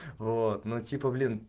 вот ну типа блин